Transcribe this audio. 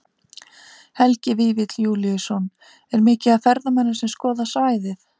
Helgi Vífill Júlíusson: Er mikið af ferðamönnum sem skoða svæðið?